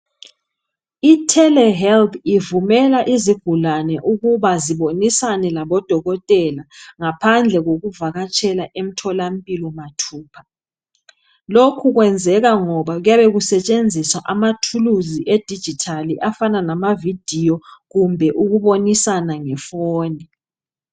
Itelehealth ivumela izigulane ukuba zibonisane labodokotela ngaphandle kokuvakatshela emtholampilo mathupha lokhu kwenzeka ngoba kuyabe kusetshenziswa amathuluzu edigital afana lamavideo kumbe ukubonisana ngefoni.